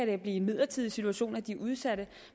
være en midlertidig situation at de er udsatte